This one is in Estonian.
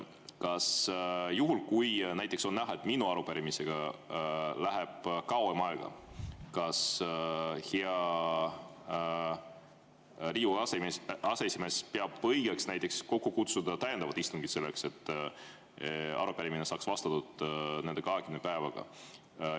Kas näiteks juhul, kui on näha, et minu arupärimisega läheb kauem aega, peab Riigikogu aseesimees õigeks kokku kutsuda täiendava istungi selleks, et arupärimisele saaks 20 päevaga vastatud?